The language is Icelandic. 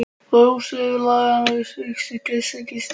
Þar aðstoðuðu tveir laganna verðir stjórn ríkisins við löggæsluna.